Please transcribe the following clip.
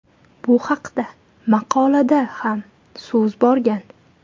Bu haqda maqolada ham so‘z borgan.